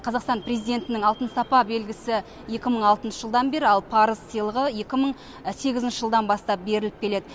қазақстан презитінің алтын сапа белгісі екі мың алтыншы жылдан бері ал парыз сыйлығы екі мың сегізінші жылдан бастап беріліп келеді